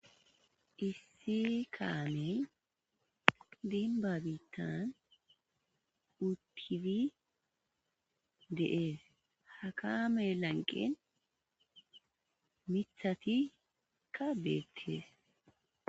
issi kaamey denba biittan utid de'es, ha kaame lanqen mithatikka beettees